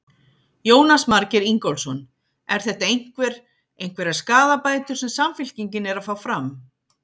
Jónas Margeir Ingólfsson: Er þetta einhver, einhverjar skaðabætur sem Samfylkingin er að fá fram?